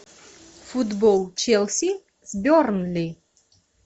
футбол челси с бернли